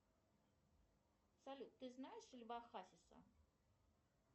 салют ты знаешь льва хасиса